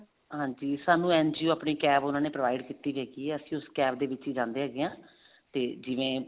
ਹਾਂਜੀ ਸਾਨੂੰ NGO ਆਪਣੀ CAB ਉਹਨਾ ਦੇ provide ਕੀਤੀ ਹੋਈ ਹੈ ਅਸੀਂ ਉਸ CAB ਦੇ ਵਿੱਚ ਹੀ ਜਾਂਦੇ ਹੈਗੇ ਹਾਂ ਤੇ ਜਿਵੇਂ